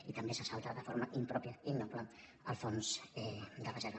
i també s’assalta de forma impròpia i innoble el fons de reserva